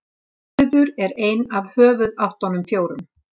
suður er ein af höfuðáttunum fjórum